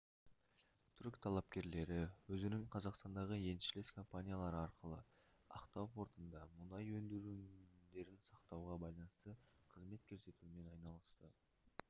түрік талапкерлері өзінің қазақстандағы еншілес компаниялары арқылы ақтау портында мұнай өнімдерін сақтауға байланысты қызмет көрсетумен айналысты